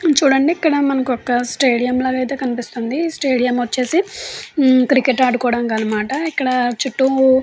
చూడండి ఇక్కడ మనకు ఒక స్టేడియం ల అయితే కనిపిస్తుంది. స్టేడియం వచ్చేసి క్రికెట్ ఆడుకోవడనికి అన్నమాట. ఇక్కడ చుట్టూ --